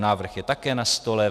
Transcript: Návrh je také na stole.